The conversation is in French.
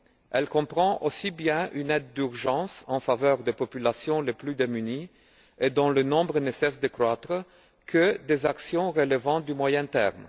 Elle comprend aussi bien une aide d'urgence en faveur des populations les plus démunies, dont le nombre ne cesse de croître, que des actions relevant du moyen terme.